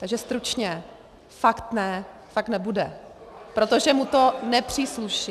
Takže stručně: fakt ne, fakt nebude, protože mu to nepřísluší.